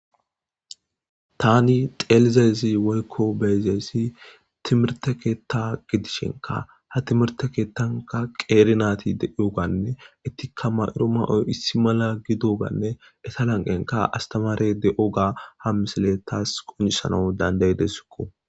tani xeelizezi woykko beezeyssi timirte keetta gidishenka ha timirte keettanka qeerinaati deiyoganne ettika may7ro maoy issi mala gidoganne eta lanqenka astamare de7o ga ha misile taas qonisanau dandayidesikko